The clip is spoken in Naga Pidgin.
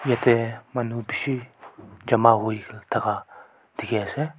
yati manu beshi chama hoi taka teki ase.